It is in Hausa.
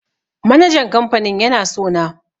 Manajan kamfanin yana sona